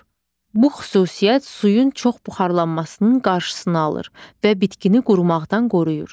Bu xüsusiyyət suyun çox buxarlanmasının qarşısını alır və bitkini qurmaqdan qoruyur.